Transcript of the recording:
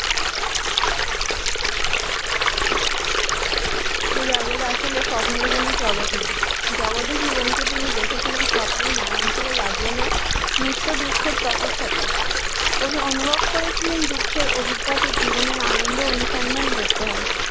আসলে স্বপ্নের কোন জগতে জীবনকে তিনি দেখেছিলেন স্বপ্নে ময়নচলে লাগিয়ে নয় নিত্য দুঃখের তপস্যা উনি অনুভব করেছিলেন দুঃখের অভিজ্ঞতা জীবনের আনন্দ অনুসন্ধান করতে হয়